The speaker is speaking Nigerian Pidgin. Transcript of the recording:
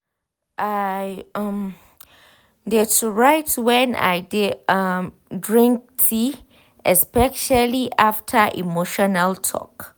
i um dey to write when i de um drink tea especially after emotional talk.